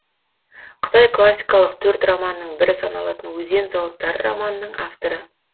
қытай классикалық төрт романының бірі саналатын өзен зауыттары романының авторы